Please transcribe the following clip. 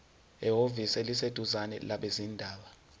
ehhovisi eliseduzane labezindaba